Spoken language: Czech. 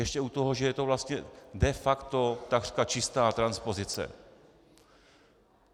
Ještě u toho, že je to vlastně de facto takřka čistá transpozice.